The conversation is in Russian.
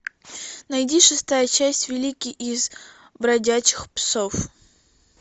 найди шестая часть великий из бродячих псов